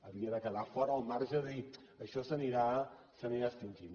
havia de quedar fora el marge de dir això s’anirà extingint